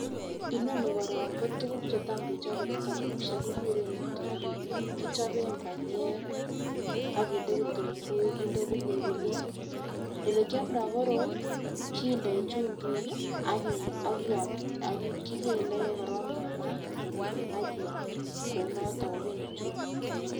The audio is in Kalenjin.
Inoni korom ko tukuk chetam kechobe en townishek kikuren muturaa, kichobe panyek akinde kitumguik kinde pilipilik, olekiomdo koroi kindoi chumbik. Kii ak akii akiam kikele korong en mat akiam kouniton ko kende chumbik.